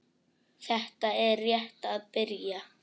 Þetta er rétt að byrja